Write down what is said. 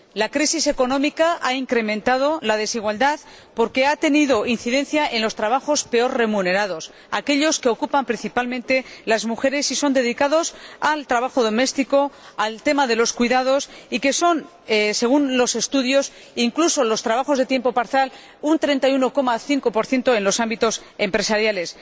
La crisis económica ha incrementado la desigualdad porque ha tenido incidencia en los trabajos peor remunerados, aquellos que ocupan principalmente las mujeres y están dedicados al trabajo doméstico y a los cuidados, y que representan, según los estudios —incluidos los trabajos de tiempo parcial— un 31,5 en los ámbitos empresariales.